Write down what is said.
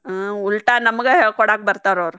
ಹಾ ಉಲ್ಟಾ ನಮಗ ಹೇಳಿಕೊಡಾಕ್ ಬರ್ತಾರ ಅವ್ರ್.